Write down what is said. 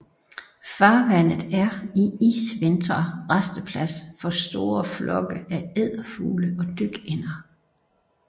Farvandet er i isvintre rasteplads for store flokke af edderfugle og dykænder